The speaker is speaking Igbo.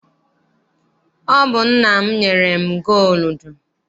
Ọ bụ nna m nyere m gooludu.